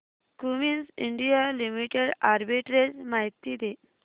Cummins India limited arbitrage माहिती दे